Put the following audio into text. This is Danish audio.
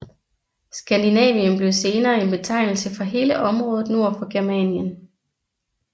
Skandinavien blev senere en betegnelse for hele området nord for Germanien